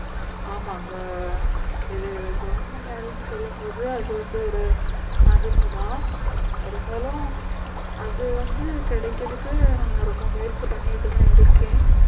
ஆமா அங்க இது government வேலைன்னு சொல்லும் போது அது வந்து ஒரு மதிப்பு தான் இருந்தாலும் அது வந்து கிடைக்கிறதுக்கு நான் ரொம்ப முயற்சி பண்ணிட்டுதான் இருக்கேன்